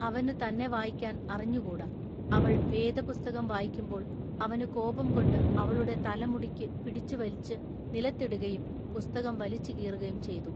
അവനു തന്നെ വായിക്കാൻ അറിഞ്ഞു കൂടാ അവൾ വേദപുസ്തകം വായിക്കുമ്പോൾ അവനു കോപംകൊണ്ടു അവളുടെ തല മുടിക്കു പിടിച്ചു വലിച്ചു നിലത്തിടുകയും പുസ്തകം വലിച്ചു കീറുകയും ചെയ്തു.